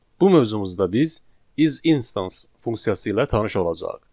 Bu mövzumuzda biz is instance funksiyası ilə tanış olacağıq.